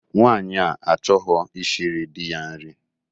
Nwaanyi a achọghọ ishiri di ya nri